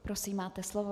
Prosím, máte slovo.